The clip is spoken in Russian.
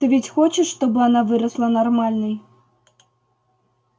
ты ведь хочешь чтобы она выросла нормальной